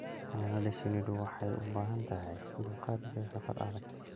Xannaanada shinnidu waxay u baahan tahay dulqaad iyo shaqo adag.